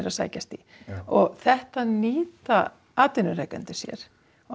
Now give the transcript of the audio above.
að sækjast í og þetta nýta atvinnurekendur sér